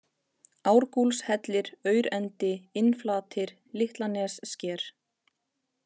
Árgúlshellir, Aurendi, Innflatir, Litlanessker